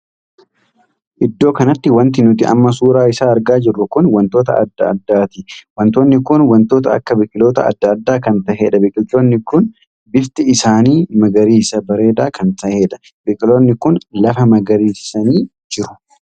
Iddoo kanatti wanti nuti amma suuraa isaa argaa jirru kun wantoota addaa addaati. wantoonni kun wantoota akka biqiloota addaa addaa kan taheedha. biqiloonni kun bifti isaanii magariisa bareedaa kan tahedha. biqiloonni kun lafa magariisisanii jiru.